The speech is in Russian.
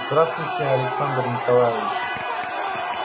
здравствуйте александр николаевич